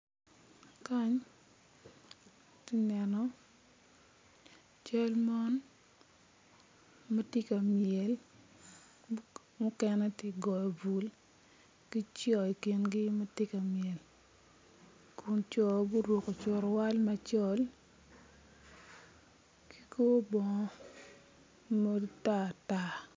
Kany ati neno cal mon ma tye ka myel mukene tye ka goyo bul ki co ikingi ma tye ka myel kun co gurukko curuwal macol ki kor bongo matar tar.